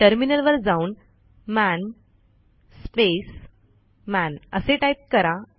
terminal वर जाऊन मन स्पेस मन असे टाईप करा